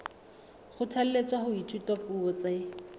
kgothalletswa ho ithuta dipuo tse